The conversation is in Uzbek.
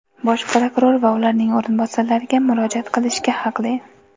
Bosh prokuror va ularning o‘rinbosarlariga murojaat qilishga haqli.